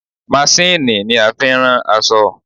Masíìnnì ni a fi ń rán aṣọ.